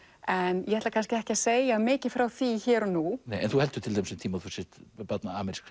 en ég ætla ekki að segja mikið frá því hér og nú en þú heldur um tíma að þú sért barn amerísks